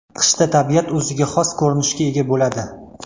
Qishda tabiat o‘ziga xos ko‘rinishga ega bo‘ladi.